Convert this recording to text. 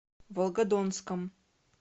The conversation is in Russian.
волгодонском